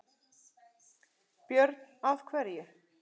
Björn: Af hverju?